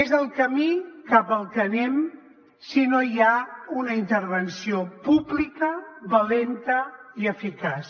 és el camí cap al que anem si no hi ha una intervenció pública valenta i eficaç